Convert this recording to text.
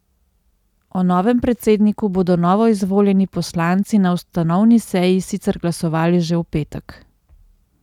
O novem predsedniku bodo novoizvoljeni poslanci na ustanovni seji sicer glasovali že v petek.